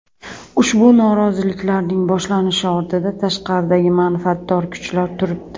Ushbu noroziliklarning boshlanishi ortida tashqaridagi manfaatdor kuchlar turibdi.